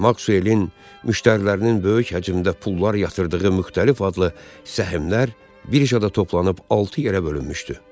Maksuelin müştərilərinin böyük həcmdə pullar yatırdığı müxtəlif adlı səhmlər birjada toplanıb altı yerə bölünmüşdü.